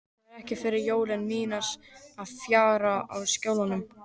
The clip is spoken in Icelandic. Þetta eru fyrstu jólin mín fjarri Skjólunum.